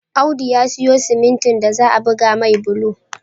Audu ya siyo simintin da za'a buga mai bulo